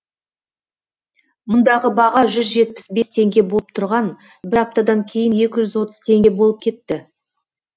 мұндағы баға жүз жетпіс бес теңге болып тұрған бір аптадан кейін екі жүз отыз теңге болып кетті